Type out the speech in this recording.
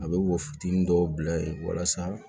A bɛ wo fitinin dɔw bila yen walasa